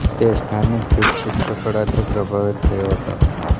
તે સ્થાનિક ભીંત ચિત્ર કળાથી પ્રભાવિત થયો હતો